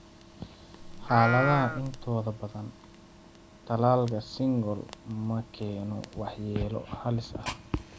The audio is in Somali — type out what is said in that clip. Xaaladaha intooda badan, tallaalka shingles ma keeno waxyeelo halis ah.